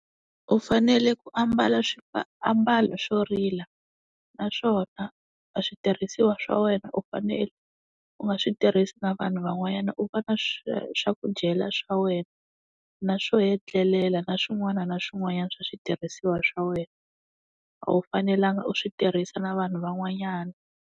U fanele ku ambala swiambalo swo rila naswona a switirhisiwa swa wena u fanele u nga swi tirhisi na vanhu van'wanyana u va na swi swa ku dyela swa wena na swo etlelela na swin'wana na swin'wana swa switirhisiwa swa wena a wu fanelanga u swi tirhisa na vanhu van'wanyana.